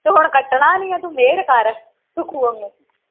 ਤੂੰ ਹੁਣ ਕੱਟਣਾ ਨਹੀਂ ਆ ਤੂੰ ਮਿਹਰ ਕਰ ਸੁਖੁ ਵਾਂਗੂੰ